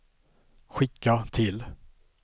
skicka till